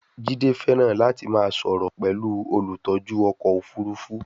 Jide fẹràn lati ma soro pẹlu olutọju ọkọ ofurufu